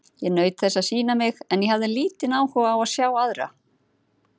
Ég naut þess að sýna mig, en ég hafði lítinn áhuga á að sjá aðra.